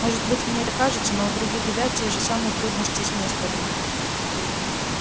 может быть мне это кажется но у других ребят те же самые трудности с несторами